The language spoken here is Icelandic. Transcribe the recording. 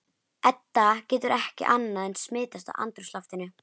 Edda getur ekki annað en smitast af andrúmsloftinu.